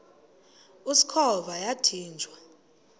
usikhova yathinjw a